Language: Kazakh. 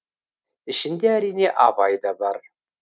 ішінде әрине абай да бар